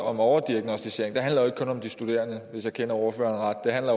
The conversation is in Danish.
om overdiagnosticering handler jo ikke kun om de studerende hvis jeg kender ordføreren ret det handler